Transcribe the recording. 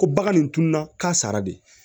Ko bagan nin tununna k'a sara de